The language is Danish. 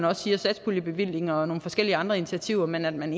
også siger satspuljebevillinger og forskellige andre initiativer men at man